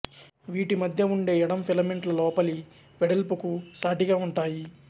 వీటి మధ్య ఉండే ఎడం ఫిలమెంట్ల లోపలి వెడల్పుకు సాటిగా ఉంటాయి